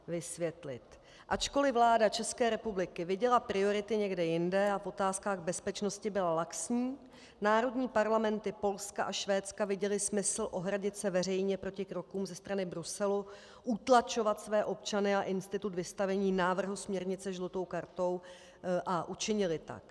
Ačkoliv vláda České republiky viděla priority někde jinde a v otázkách bezpečnosti byla laxní, národní parlamenty Polska a Švédska viděly smysl ohradit se veřejně proti krokům ze strany Bruselu, utlačovat své občany a institut vystavení návrhu směrnice žlutou kartou (?), a učinily tak.